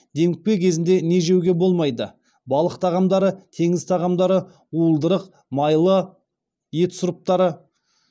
демікпе кезінде не жеуге болмайды балық тағамдары теңіз тағамдары уылдырық майлы ет сұрыптары